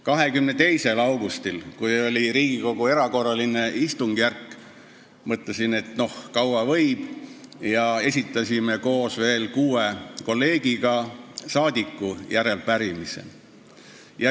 22. augustil, kui oli Riigikogu erakorraline istungjärk, mõtlesin, et kaua võib, ja esitasin koos kuue kolleegiga järelepärimise.